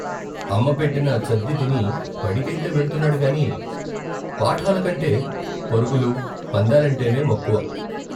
అమ్మ పెట్టిన చద్దితిని బడికైతే వెళ్తున్నాడుగాని పాఠాలకంటే పరుగులు, పందాలంటేనే మక్కువ.